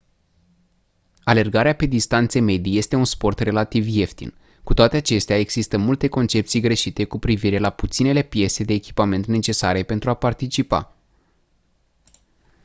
alergarea pe distanțe medii este un sport relativ ieftin cu toate acestea există multe concepții greșite cu privire la puținele piese de echipament necesare pentru a participa